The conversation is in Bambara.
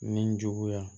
Nin juguya